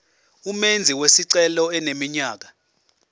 umenzi wesicelo eneminyaka